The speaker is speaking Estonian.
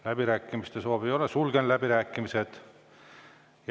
Läbirääkimiste soovi ei ole, sulgen läbirääkimised.